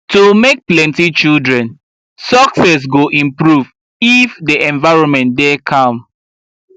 to make plenty children success go improve if the environment dey calm